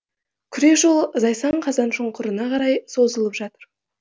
күре жол зайсан қазаншұңқырына қарай созылып жатыр